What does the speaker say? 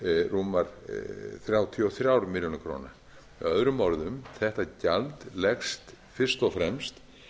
rúmar þrjátíu og þrjár milljónir króna með öðrum orðum þetta gjald leggst fyrst og fremst